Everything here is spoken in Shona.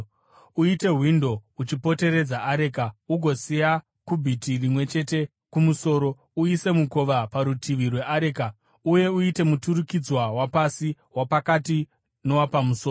Uite windo uchipoteredza areka ugosiya kubhiti rimwe chete kumusoro. Uise mukova parutivi rweareka uye uite muturikidzwa wapasi, wapakati nowapamusoro.